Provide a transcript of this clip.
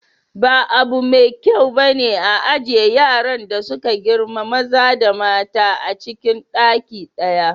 Ba abu mai kyau bane a ajiye yaran da suka girma maza da mata acin ɗaki ɗaya.